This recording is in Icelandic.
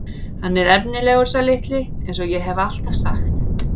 Hann er efnilegur sá litli eins og ég hef alltaf sagt.